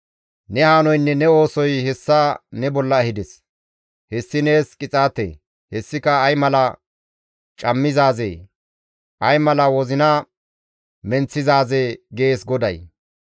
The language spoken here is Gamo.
Ne hanoynne ne oosoy hessa ne bolla ehides; hessi nees qixaate; hessika ay mala cammizaazee! ay mala wozina menththizaazee!» gees GODAY.